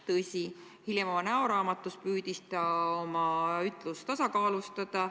" Tõsi, hiljem oma näoraamatus püüdis ta oma ütlemist tasakaalustada.